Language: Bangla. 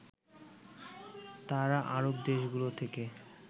তারা আরব দেশগুলো থেকে